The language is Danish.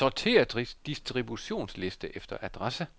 Sortér distributionsliste efter adresse.